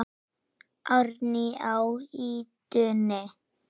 Árni á ýtunni.